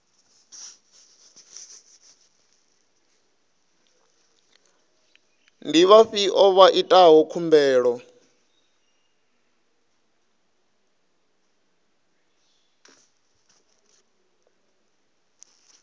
ndi vhafhio vha itaho khumbelo